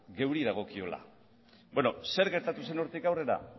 geuri dagokigula beno zer gertatu zen hortik aurrera